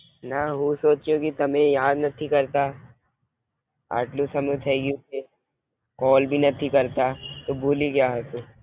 ના હું સોચુ કે તમે યાદ નથી કરતા આટલો સમય થાય ગયો છે કોલ ભી નથી કરતા તો ભૂલી ગયા હશો?